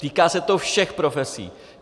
Týká se to všech profesí.